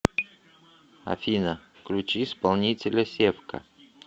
афина включи исполнителя севка